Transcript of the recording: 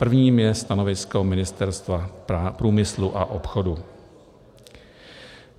Prvním je stanovisko Ministerstva průmyslu a obchodu.